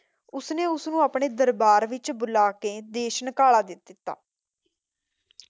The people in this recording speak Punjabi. ਉਸਨੇ ਉਸਨੂੰ ਆਪਣੇ ਦਰਬਾਰ ਵਿੱਚ ਬੁਲਾਕੇ ਦੇਸ਼ ਨਿਕਾਲਾ ਦੇ ਦਿੱਤਾ।